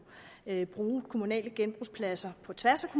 bruge kommunale genbrugspladser på tværs af